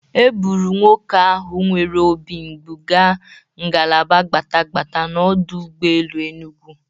E bụru nwoke ahụ nwere obi mgbụ ga ngalaba gbatagbata n'ọdụ ụgbọelu Enugu.